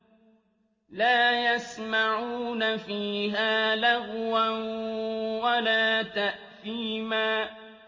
لَا يَسْمَعُونَ فِيهَا لَغْوًا وَلَا تَأْثِيمًا